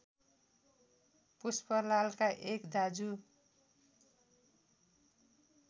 पुष्पलालका एक दाजु